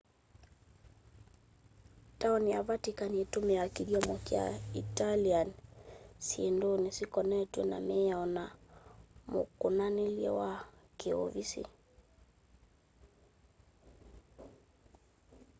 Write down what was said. taoni ya vatican itumiaa kĩthyomo kya italian syĩndũnĩ syĩkonetwe na mĩao na mukumukanilye wa kiuvisi